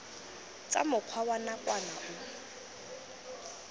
tsa mokgwa wa nakwana o